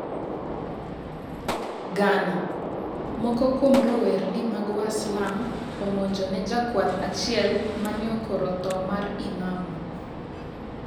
Ghana:Moko kuom rowerni mag waslam omonjone jakwath achiel maneokoro thoo mar Imamu.